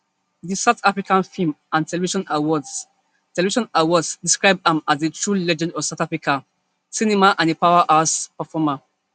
di south african film and television awards television awards describe am as a true legend of south african cinema and a powerhouse performer